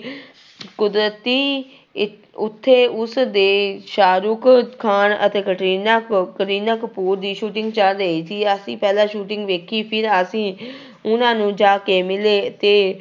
ਕੁਦਰਤੀ ਇ ਉੱਥੇ ਉਸਦੇ ਸਾਹਰੁਖ ਖਾਨ ਅਤੇ ਕਟਰੀਨਾ ਕ ਕਰੀਨਾ ਕਪੂਰ ਦੀ shooting ਚੱਲ ਰਹੀ ਸੀ ਅਸੀਂ ਪਹਿਲਾਂ shooting ਵੇਖੀ ਫਿਰ ਅਸੀਂ ਉਹਨਾਂ ਨੂੰ ਜਾ ਕੇ ਮਿਲੇ ਤੇ